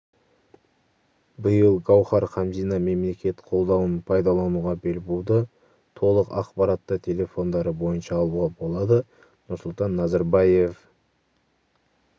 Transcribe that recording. биыл гауһар хамзина мемлекет қолдауын пайдалануға бел буды толық ақпаратты телефондары бойынша алуға болады нұрсұлтан назарбаев